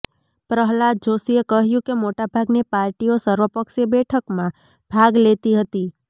પ્રહલાદ જોષીએ કહ્યું કે મોટાભાગની પાર્ટીઓ સર્વપક્ષીય બેઠકમાં ભાગ લેતી હતી